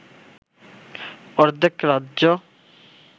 অর্ধেক রাজ্য